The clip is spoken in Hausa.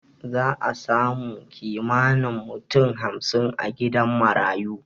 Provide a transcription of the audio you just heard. Za'a samu kimanin mutum hamsin a gidan marayu